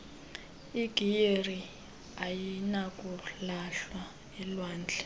igiyeri ayinakulahlwa elwandle